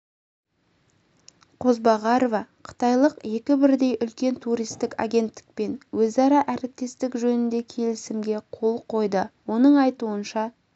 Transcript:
қозбағарова қытайлық екі бірдей үлкен туристік агенттікпен өзара әріптестік жөнінде келісімге қол қойды оның айтуынша